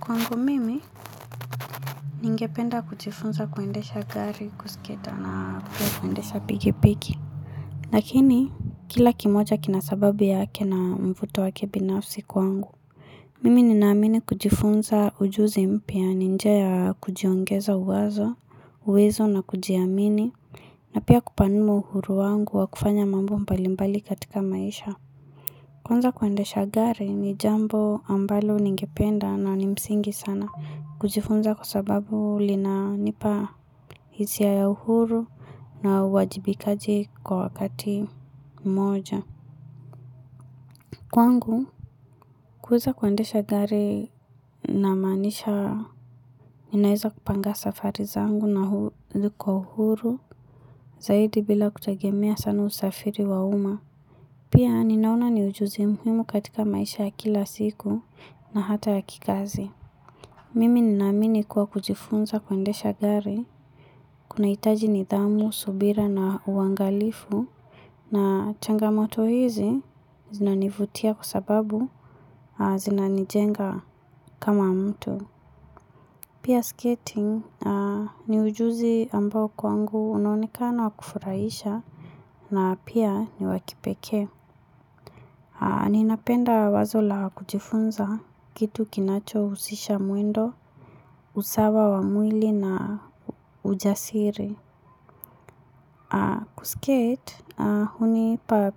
Kwangu mimi, ningependa kujifunza kuendesha gari, kusiketi na kuendesha piki piki. Lakini, kila kimoja kina sababu yake na mvuto wake binafsi kwangu. Mimi ninaamini kujifunza ujuzi mpya ni njia ya kujiongeza uwazo, uwezo na kujiamini na pia kupanua uhuru wangu wa kufanya mambo mbalimbali katika maisha. Kwanza kuendesha gari ni jambo ambalo ningependa na ni msingi sana kujifunza kwa sababu linanipa hisia ya uhuru na uajibikaji kwa wakati mmoja. Kwangu kuweza kuendesha gari namaanisha ninaweza kupanga safari zangu na hu, ziko uhuru zaidi bila kutegemea sana usafiri wa umma. Pia ninaona ni ujuzi muhimu katika maisha ya kila siku na hata ya kikazi. Mimi ninaamini kuwa kujifunza kuendesha gari, kunahitaji nidhamu, subira na uangalifu na changamoto hizi zinanivutia kwa sababu zinanijenga kama mtu. Pia skating ni ujuzi ambao kwangu unanekana wa kufurahisha na pia ni wa kipekee. Ninapenda wazo la kujifunza kitu kinachohusisha mwendo, usawa wa mwili na ujasiri. Kuskate, hunipa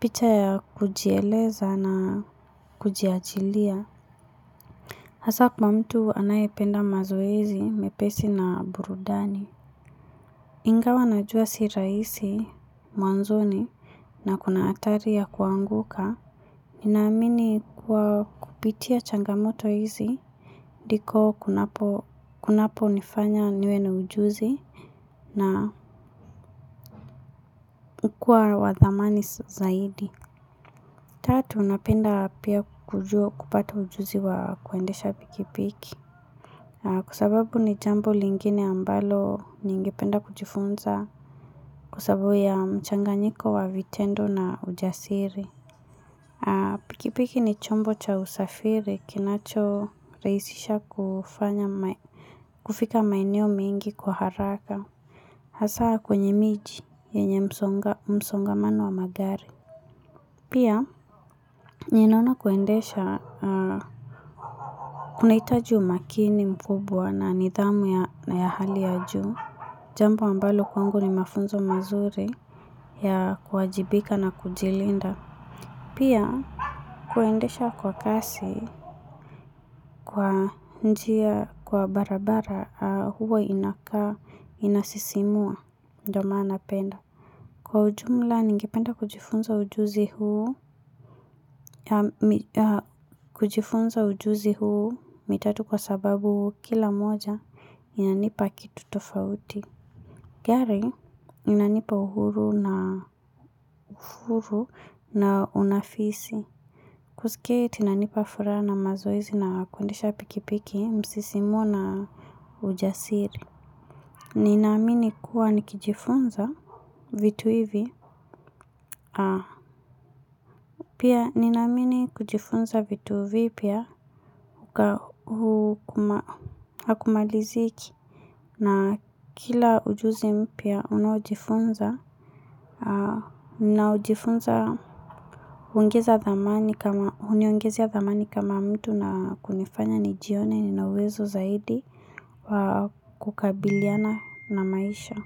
picha ya kujieleza na kujiachilia. Hasa kwa mtu anayependa mazoezi mepesi na burudani. Ingawa najua si rahisi mwanzoni na kuna hatari ya kuanguka. Ninaamini kuwa kupitia changamoto hizi ndiko kunaponifanya niwe na ujuzi na kukuwa wa thamani zaidi. Tatu, napenda pia kupata ujuzi wa kuendesha pikipiki. Kwa sababu ni jambo lingine ambalo ningependa kujifunza kwa sababu ya mchanganyiko wa vitendo na ujasiri. Pikipiki ni chombo cha usafiri kinachorahisisha kufanya, kufika maeneo mengi kwa haraka Hasaa kwenye miji yenye msongamano wa magari Pia ninaona kuendesha kunahitaju umakini mkubwa na nidhamu na ya hali ya juu. Jambo ambalo kwangu ni mafunzo mazuri ya kuwajibika na kujilinda Pia, kuendesha kwa kasi kwa njia, kwa barabara, huwa inakaa inasisimua ndiyo maana napenda. Kwa ujumla, ningependa kujifunza ujuzi huu, kujifunza ujuzi huu mitatu kwa sababu kila moja inanipa kitu tofauti. Gari inanipa uhuru na uhuru na unafisi Kuskate inanipa furaha na mazoezi na kuendesha pikipiki husisimua na ujasiri Ninaamini kuwa nikijifunza vitu hivi Pia ninaamini kujifunza vitu vipya hakumaliziki na kila ujuzi mpya unaojifunza, ninaojifunza huniongezea thamani kama mtu na kunifanya nijione nina uwezo zaidi kukabiliana na maisha.